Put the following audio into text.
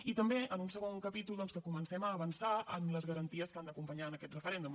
i també en un segon capítol doncs que comencem a avançar en les garanties que han d’acompanyar aquest referèndum